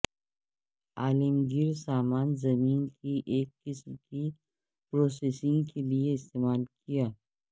عالمگیر سامان زمین کی ایک قسم کی پروسیسنگ کے لئے استعمال کیا